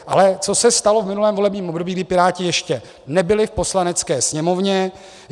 Ale co se stalo v minulém volebním období, kdy Piráti ještě nebyli v Poslanecké sněmovně?